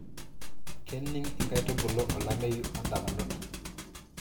kening inkaitubulu olameyu odamunot